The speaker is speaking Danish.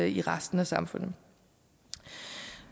i resten af samfundet